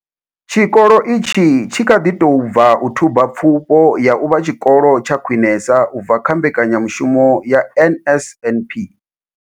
Tshikolo itshi tshi kha ḓi tou bva u thuba Pfufho ya u vha Tshikolo tsha Khwinesa u bva kha mbekanyamushumo ya NSNP.